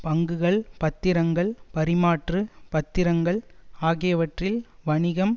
பங்குகள் பத்திரங்கள் பரிமாற்று பத்திரங்கள் ஆகியவற்றில் வணிகம்